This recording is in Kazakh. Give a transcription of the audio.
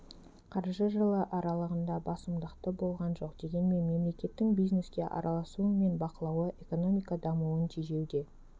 қаржы жылы аралығында басымдықты болған жоқ дегенмен мемлекеттің бизнеске араласуы мен бақылауы экономика дамуын тежеуде